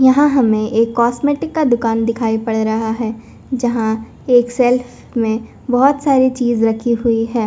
यहाँ हमे एक कॉस्मेटिक का दुकान दिखाई पड़ रहा है जहां एक सेल्फ में बहुत सारी चीज़ रखी हुई है।